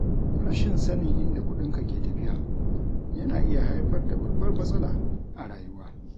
Rashin sanin inda kudinka ke tafiya yana iya haifar da babbar matsala a rayuwa.